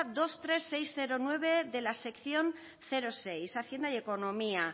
veintitrés mil seiscientos nueve de la sección seis hacienda y economía